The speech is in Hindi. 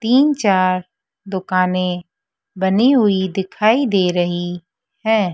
तीन चार दुकानें बनी हुई दिखाई दे रही है।